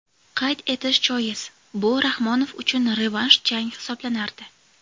Qayd etish joiz, bu Rahmonov uchun revansh jang hisoblanardi.